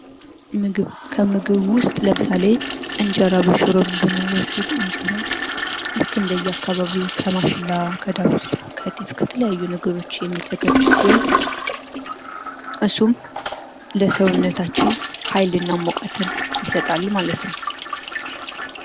ምግብ። ከምግብ ውስጥ ለምሳሌ እንጀራ በሽሮን ብንወስድ እንጀራ ልክ እንደ የአካባቢው ከማሽላ፣ ከዳጉሳ ፣ከጤፍ ከተለያዩ ነገሮች የሚዘጋጅ ሲሆን እሱም ለሰውነታችን ሃይል እና ሙቀትን ይሰጣል ማለት ነው።